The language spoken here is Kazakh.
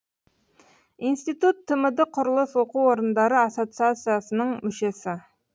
институт тмд құрылыс оқу орындары ассоциациясының мүшесі